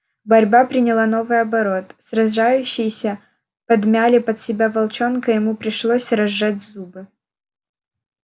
борьба приняла новый оборот сражающиеся подмяли под себя волчонка и ему пришлось разжать зубы